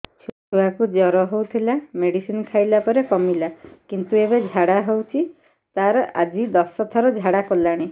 ଛୁଆ କୁ ଜର ହଉଥିଲା ମେଡିସିନ ଖାଇଲା ପରେ କମିଲା କିନ୍ତୁ ଏବେ ଝାଡା ହଉଚି ତାର ଆଜି ଦଶ ଥର ଝାଡା କଲାଣି